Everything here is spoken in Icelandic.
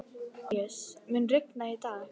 Antóníus, mun rigna í dag?